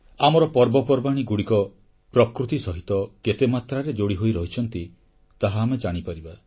ଆମର ପର୍ବପର୍ବାଣୀଗୁଡ଼ିକ ପ୍ରକୃତି ସହିତ କେତେ ମାତ୍ରାରେ ଯୋଡ଼ି ହୋଇ ରହିଛନ୍ତି ତାହା ଆମେ ଜାଣିପାରିବା